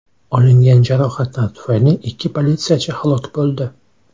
Olingan jarohatlar tufayli ikki politsiyachi halok bo‘ldi.